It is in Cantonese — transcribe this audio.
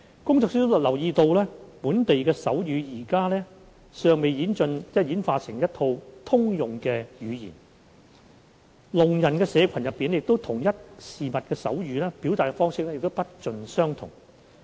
工作小組留意到，本地手語尚未演化出一套通用的語言，聾人社群間就同一事物的手語表達方式不盡相同。